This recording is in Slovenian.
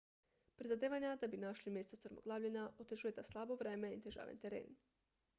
prizadevanja da bi našli mesto strmoglavljenja otežujeta slabo vreme in težaven teren